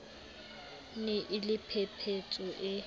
ne e le phephetso e